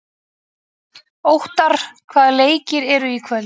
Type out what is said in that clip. Óttarr, hvaða leikir eru í kvöld?